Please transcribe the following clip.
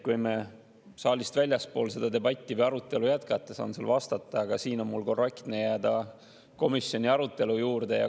Kui me saalist väljaspool seda arutelu jätkame, siis saan vastata, aga siin on mul korrektne jääda komisjoni arutelu juurde.